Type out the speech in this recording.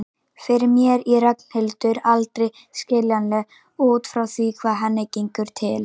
Fyrir mér er Ragnhildur aldrei skiljanleg út frá því hvað henni gengur til.